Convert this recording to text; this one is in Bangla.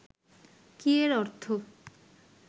কী এর অর্থ